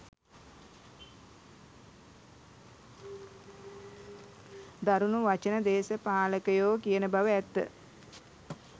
දරුණු වචන දේශපාලකයෝ කියන බව ඇත්ත.